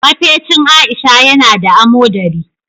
Mafecin Aisha ya na da amodari.